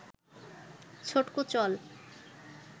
ছটকু চল